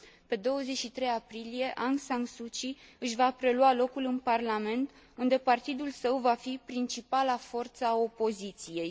Pe 23 aprilie, Aung San Suu Kyi își va prelua locul în Parlament, unde partidul său va fi principala forță a opoziției.